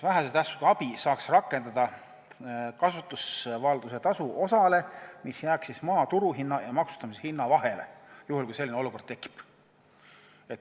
Vähese tähtsusega abi saaks rakendada kasutusvalduse tasu osale, mis jääks maa turuhinna ja maksustamishinna vahele, juhul kui selline olukord tekib.